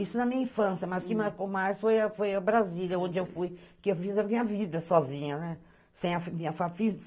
Isso na minha infância, mas o que marcou mais foi a Brasília, onde eu fiz a minha vida sozinha, né?